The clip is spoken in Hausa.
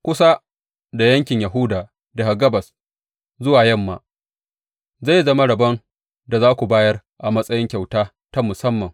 Kusa da yankin Yahuda daga gabas zuwa yamma zai zama rabon da za ku bayar a matsayin kyauta ta musamman.